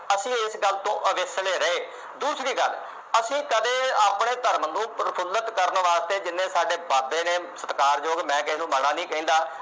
ਅਸੀਂ ਇਸ ਗੱਲ ਤੋਂ ਅਵੇਸਲੇ ਰਹੇ ਦੂਸਰੀ ਗੱਲ ਅਸੀਂ ਕਦੇ ਆਪਣੇ ਧਰਮ ਨੂੰ ਪ੍ਰਫੂਲਿਤ ਕਰਨ ਵਾਸਤੇ ਜਿੰਨੇ ਸਾਡੇ ਬਾਬੇ ਨੇ ਸਤਿਕਾਰਯੋਗ ਮੈਂ ਕਿਹੇ ਨੂੰ ਮਾੜਾ ਨਹੀਂ ਕਹਿੰਦਾ